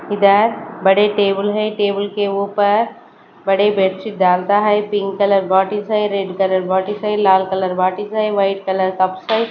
इधर बड़े टेबल है टेबल के ऊपर बड़े बेड शीट डालता है pink colour what is a red colour what is a white colour --